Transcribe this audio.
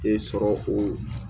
E sɔrɔ o